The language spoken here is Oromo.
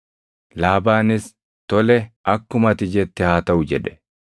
Laabaanis, “Tole, akkuma ati jette haa taʼu” jedhe.